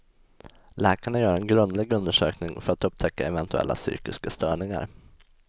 Läkarna gör en grundlig undersökning för att upptäcka eventuella psykiska störningar.